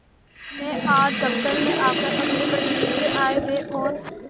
यदि मैं आज दफ्तर में आकर अपनी पत्नी के आयव्यय और